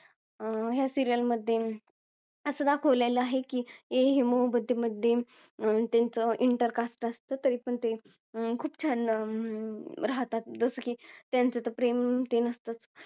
अं या serial मध्ये असं दाखवलेला आहे की ये हे मोहब्बते मध्ये अं त्यांचा intercaste असत तरी पण ते खूप छान अं राहतात जसं की त्यांचं तर प्रेम ते नसतं